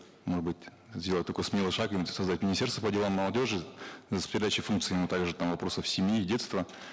может быть сделать такой смелый шаг и создать министерство по делам молодежи с передачей функции им также там вопросов семьи и детства